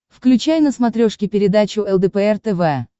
включай на смотрешке передачу лдпр тв